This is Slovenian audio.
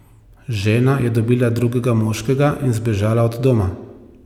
Žena je dobila drugega moškega in zbežala od doma.